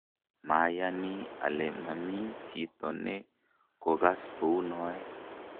mayani ale mami chito ne kokas kou noe